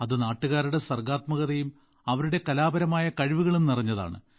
അത് നാട്ടുകാരുടെ സർഗ്ഗാത്മകതയും അവരുടെ കലാപരമായ കഴിവുകളും നിറഞ്ഞതാണ്